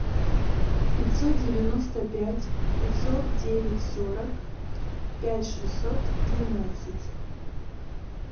пятьсот девяносто пять пятьсот девять сорок пять шестьсот двенадцать